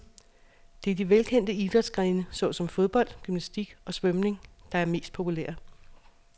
Det er de velkendte idrætsgrene såsom fodbold, gymnastik og svømning, der er mest populære.